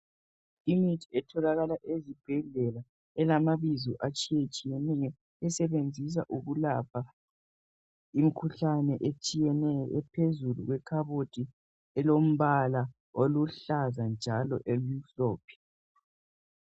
Imithi etholakala ezibhedlela, elamabizo atshiyetshiyeneyo, esebenziswa ukulapha imkhuhlane etshiyeneyo, iphezulu kwekhabothi elombala oluhlaza njalo elimhlophe.